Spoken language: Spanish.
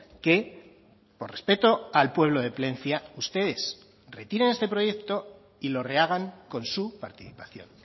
que por respeto al pueblo de plencia ustedes retiren este proyecto y lo rehagan con su participación